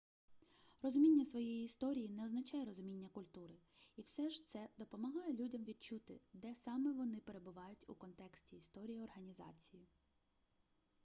розуміння своєї історії не означає розуміння культури і все ж це допомагає людям відчути де саме вони перебувають у контексті історії організації